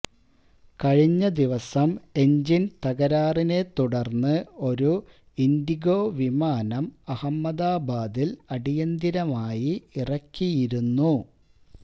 കഴിഞ്ഞ ദിവസം എന്ജിന് തകരാറിനെ തുടര്ന്ന് ഒരു ഇന്ഡിഗോ വിമാനം അഹമ്മദാബാദില് അടിയന്തരമായി ഇറക്കിയിരുന്നു